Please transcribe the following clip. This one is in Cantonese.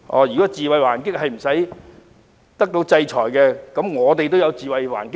如果自衞還擊不會受到制裁，我們也可以自衞還擊了。